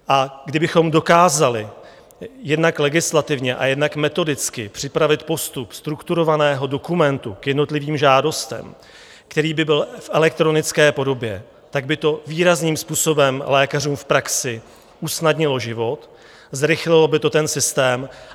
A kdybychom dokázali jednak legislativně a jednak metodicky připravit postup strukturovaného dokumentu k jednotlivým žádostem, který by byl v elektronické podobě, tak by to výrazným způsobem lékařům v praxi usnadnilo život, zrychlilo by to ten systém.